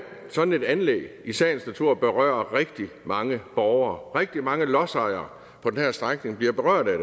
sådan et anlæg i sagens natur berører rigtig mange borgere og rigtig mange lodsejere på den her strækning bliver berørt af